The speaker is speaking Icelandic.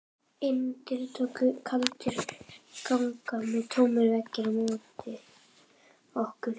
Innandyra tóku kaldir gangar og tómir veggir á móti okkur.